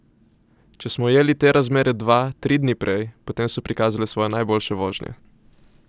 Če smo ujeli te razmere dva, tri dni prej, potem so prikazale svoje najboljše vožnje.